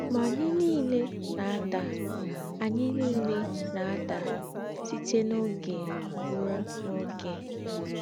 Mà ànyí nílé nà-àdà ànyí nílé nà-àdà sítè n’ógé ruò n’ógé.